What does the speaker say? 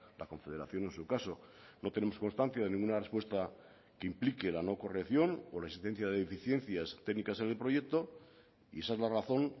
la confederación en su caso no tenemos constancia de ninguna respuesta que implique la no corrección o la existencia de deficiencias técnicas en el proyecto y esa es la razón